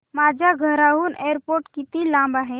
माझ्या घराहून एअरपोर्ट किती लांब आहे